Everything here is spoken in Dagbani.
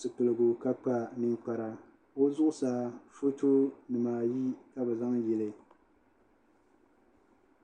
zipiligu ka kpa ninkpara o zuɣusaa foto nimaayi ka bi zaŋ yili